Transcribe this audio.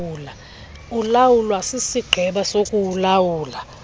ulawulwa sisigqeba sokuulawula